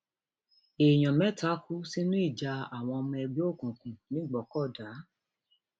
èèyàn mẹta kú sínú ìjà àwọn ọmọ ẹgbẹ òkùnkùn nìgbòkọdá